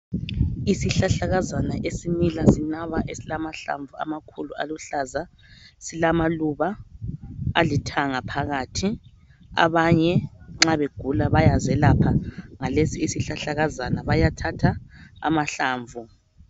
Izihlahlakazana esimila sinaba esilamahlamvu amakhulu aluhlaza silamaluba alithanga phakathi. Abanye nxa begula bayazelapha ngalesisihlahlakazana bayathatha amahlamvu.